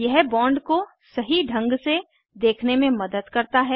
यह बॉन्ड को सही ढंग से देखने में मदद करता है